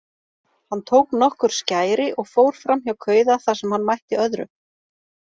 Hann tók nokkur skæri og fór framhjá kauða þar sem hann mætti öðrum.